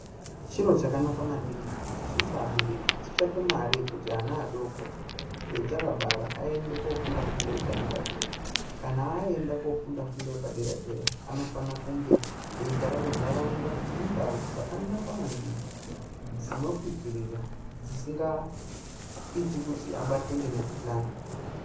Chiro chakanaka maningi kuti isusu abereki titsvake mare yekuti ana adoko atakabara aende kofunda fundo yepadera dera kana aenda kunofunda fundo yepadera dera anofana kunge eigara kuntaraunta ine ndao dzakanaka maningi dzinopipirira dzisikaiti kuti abatwe nemikuhlani.